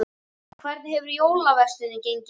En hvernig hefur jólaverslunin gengið?